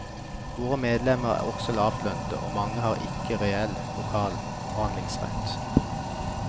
Våre medlemmer er også lavtlønnede, og mange har ikke reell lokal forhandlingsrett.